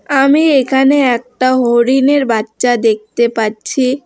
আমি এখানে একটা হরিণের বাচ্চা দেখতে পাচ্ছি।